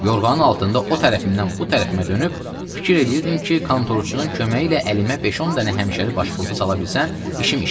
Yorğanın altında o tərəfimdən bu tərəfimə dönüb fikir eləyirdim ki, kontorçunun köməyi ilə əlimə 5-10 dənə həmişəlik başpurtu sala bilsəm, işim işdi.